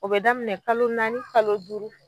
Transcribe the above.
O bɛ daminɛ kalo naani kalo duuru.